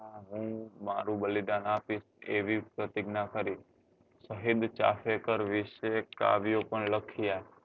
હું મારું બલિદાન આપીશ એવી પ્રતિજ્ઞા કરી વીસ એક કાવ્યો પણ લખ્યા